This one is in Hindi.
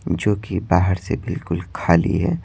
जो कि बाहर से बिल्कुल खाली है।